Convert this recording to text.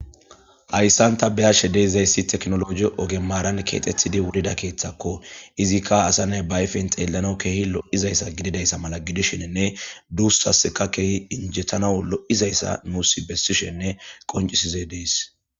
Haysan ta beyashe dizaysi tekinoloji oge maaran keexetidi wurida keethako. Izika asa nay be ayfen xeellanaw keehi lo'izaysa gidida mala gidizaysanne duusas keehi injetanaw lo'izaysa bessishene qoncisishe dees.